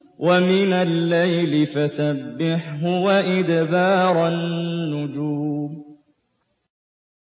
وَمِنَ اللَّيْلِ فَسَبِّحْهُ وَإِدْبَارَ النُّجُومِ